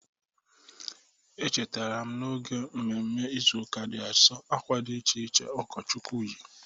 Echetarara m n'oge mmemme Ịzụụka dị Asọ akwa dị iche iche ụkọchukwu yi.